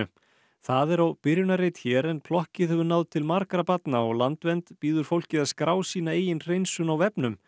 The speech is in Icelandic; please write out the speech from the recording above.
það er á byrjunarreit hér en plokkið hefur náð til margra barna og Landvernd býður fólki að skrá sína eigin hreinsun á vefnum